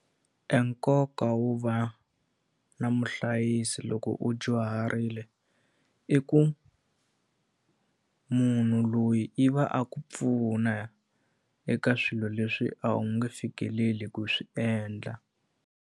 Enkoka wo va na muhlayisi loko u dyuharile, i ku munhu loyi i va a ku pfuna eka swilo leswi a wu nge fikeleli ku swi endla.